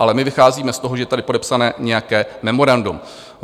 Ale my vycházíme z toho, že tady je podepsané nějaké memorandum.